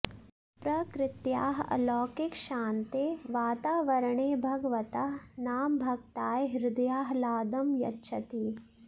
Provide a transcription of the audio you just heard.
प्रकृत्याः अलौकिकशान्ते वातावरणे भगवतः नाम भक्ताय हृदयाह्लादं यच्छति